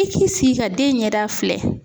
I k'i sigi ka den ɲɛda filɛ.